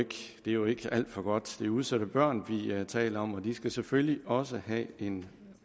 jo ikke alt for godt det er udsatte børn vi vi taler om og de skal selvfølgelig også have en